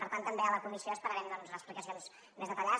per tant també a la comissió esperarem les explicacions més detallades